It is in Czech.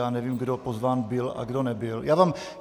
Já nevím, kdo pozván byl a kdo nebyl.